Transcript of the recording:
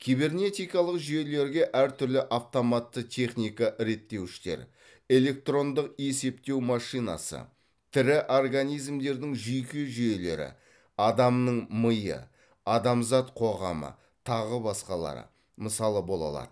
кибернетикалық жүйелерге әр түрлі автоматты техника реттеуіштер электрондық есептеу машинасы тірі организмдердің жүйке жүйелері адамның миы адамзат қоғамы тағы басқалары мысалы бола алады